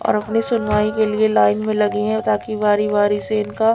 और अपनी सुनाई के लिए लाइन में लगी है बाकी बरी बरी से इनका--